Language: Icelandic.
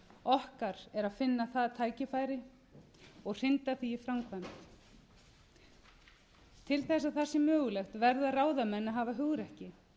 okkar er að finna það tækifæri og hrinda því í framkvæmd til þess að það sé mögulegt verða ráðamenn að hafa hugrekki